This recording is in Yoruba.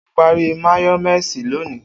O pari máyọ́méèsì loni.